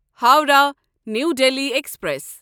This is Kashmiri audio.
Howrah new Delhi express